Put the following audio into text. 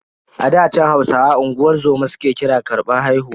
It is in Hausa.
A ɗa chan, Hausawa unguwar zoma su ke kira karbar haihuwa.